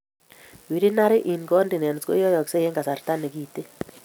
Urinary incontinence koyoyoksei en kasarta nekiten